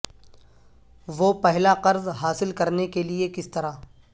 وہ پہلا قرض حاصل کرنے کے لئے کس طرح